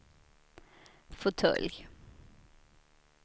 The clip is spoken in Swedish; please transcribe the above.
fåtölj